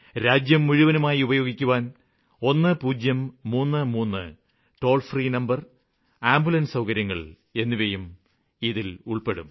രാജ്യം മുഴുവനുമായി ഉപയോഗിക്കുവാന് 1033 ടോള് ഫ്രീ നമ്പര് ആംബുലന്സ് സൌകര്യങ്ങള് എന്നിവയും ഇതില് ഉള്പ്പെടും